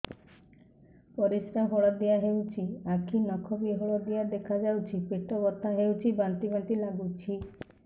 ପରିସ୍ରା ହଳଦିଆ ହେଉଛି ଆଖି ନଖ ବି ହଳଦିଆ ଦେଖାଯାଉଛି ପେଟ ବଥା ହେଉଛି ବାନ୍ତି ବାନ୍ତି ଲାଗୁଛି